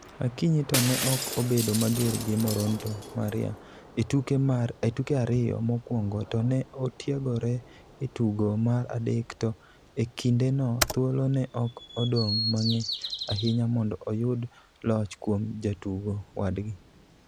Akinyi to ne ok obedo mager gi Moronto (Maria) e tuke ariyo mokwongo to ne otiegore e tugo mar adek to e kindeno thuolo ne ok odong' mang'eny ahinya mondo oyud loch kuom jatugo wadgi.